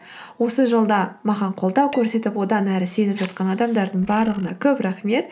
осы жолда маған қолдау көрсетіп одан әрі сеніп жатқан адамдардың барлығына көп рахмет